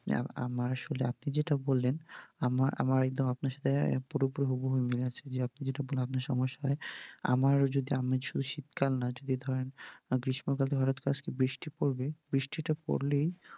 আমার আসলে, আপনি যেটা বললেন, আমার আমার একদম আপনার সাথে পুরো পুরো হুবহু মিল আছে, যে আপনি যেটা বললেন আপনার সমস্যা হয়, আমারও যদি আমি যদি শীতকাল নয়, যদি ধরেন গ্রীষ্মকাল হটাৎ করে বৃষ্টি পড়বে, বৃষ্টিটা পড়লেই